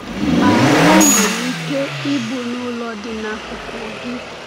Ma o nwere ike ịbụ n’ụlọ dị n’akụkụ gị.